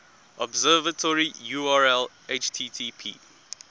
observatory url http